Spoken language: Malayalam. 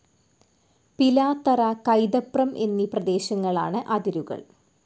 പിലാത്തറ, കൈതപ്രം എന്നീ പ്രേദേശങ്ങളാണ് അതിരുകൾ